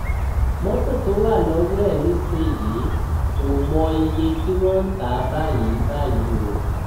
mọtò tó wà lọwọ ẹ nísìnyìí ò mọ iye tí wọn ń tà á báyìí báyìí o